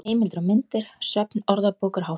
Heimildir og myndir: Söfn Orðabókar Háskólans.